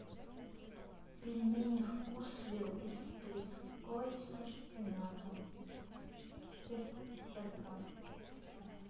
пельмени вкусвилл с треской со шпинатом четыреста пятьдесят грамм